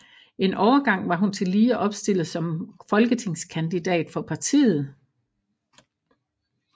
En overgang var hun tillige opstillet som folketingskandidat for partiet